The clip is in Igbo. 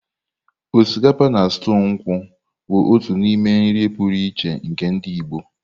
Osikapa na stuu nkwu bụ otu n'ime nri pụrụ iche nke ndị Igbo.